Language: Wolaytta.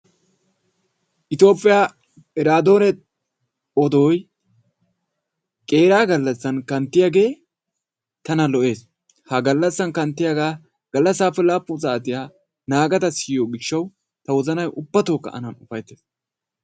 Toophphiya iraadoone odoyi qeeraa gallassan kanttiyagee tana lo"es. Ha gallassan kanttiyagaa gallassaappe laappun saatiya naagada siyiyo gishshawu ta wozabayi ubbatookka an ufayttes.